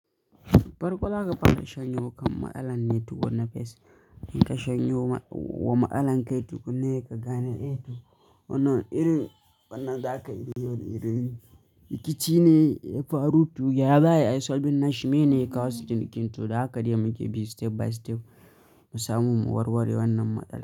Farkon zaka fara shanyewar kan ma'tsalan tukunna first in kashanyo wa ma'tsalan kai tukunna sai kagane Wannan irin wannan za ka iya yi, rikici ne ya faru tu ya zaya, ai Solbi Nash me ne ya kawo shi? Kintu da haka dai muke bi step by step mu samu warware wannan matsala.